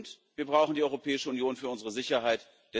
Und wir brauchen die Europäische Union für unsere Sicherheit.